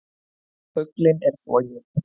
Fuglinn er floginn!